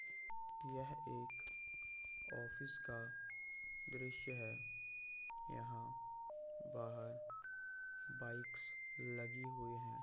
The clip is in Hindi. यह एक ऑफिस का द्रश्य है यहाँ बाहर बाइक्स लगी हुई है।